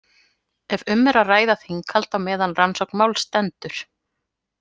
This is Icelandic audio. Ef um er að ræða þinghald á meðan rannsókn máls stendur.